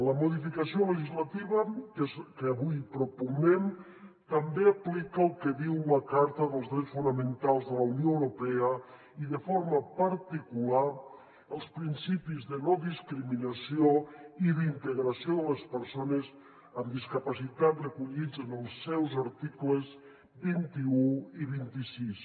la modificació legislativa que avui propugnem també aplica el que diu la carta dels drets fonamentals de la unió europea i de forma particular els principis de no discriminació i d’integració de les persones amb discapacitat recollits en els seus articles vint un i vint sis